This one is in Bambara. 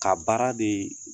Ka baara de